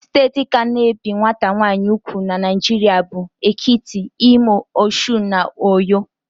Steeti ka na-ebi nwata nwaanyị ùgwù n' Naijiria bụ: Ekiti, Imo, Osun, na Uyo.